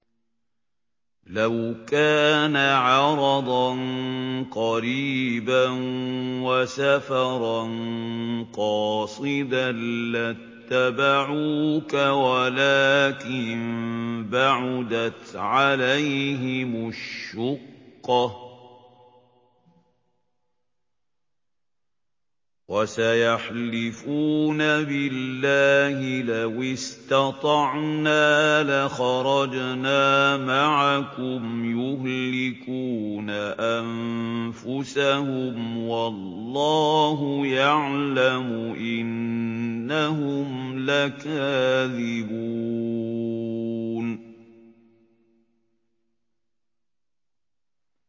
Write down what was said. لَوْ كَانَ عَرَضًا قَرِيبًا وَسَفَرًا قَاصِدًا لَّاتَّبَعُوكَ وَلَٰكِن بَعُدَتْ عَلَيْهِمُ الشُّقَّةُ ۚ وَسَيَحْلِفُونَ بِاللَّهِ لَوِ اسْتَطَعْنَا لَخَرَجْنَا مَعَكُمْ يُهْلِكُونَ أَنفُسَهُمْ وَاللَّهُ يَعْلَمُ إِنَّهُمْ لَكَاذِبُونَ